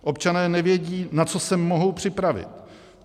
Občané nevědí, na co se mohou připravit.